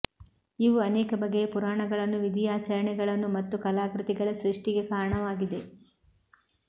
ಇವು ಅನೇಕ ಬಗೆಯ ಪುರಾಣಗಳನ್ನು ವಿಧಿಯಾಚರಣೆಗಳನ್ನು ಮತ್ತು ಕಲಾಕೃತಿಗಳ ಸೃಷ್ಟಿಗೆ ಕಾರಣವಾಗಿದೆ